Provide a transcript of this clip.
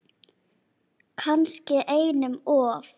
Kannski einum of.